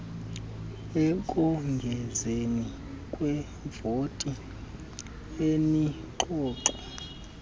ekongezeni kwivoti enengxoxo